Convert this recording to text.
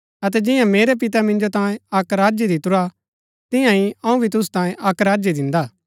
अतै जियां मेरै पिते मिन्जो तांयें अक्क राज्य दितुरा तिआंई अऊँ भी तुसु तांयें अक्क राज्य दिन्दा